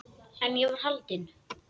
En ég var haldin.